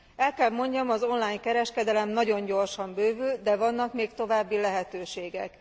El kell mondjam, az online kereskedelem nagyon gyorsan bővül, de vannak még további lehetőségek.